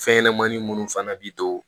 Fɛn ɲɛnɛmanin munnu fana bi to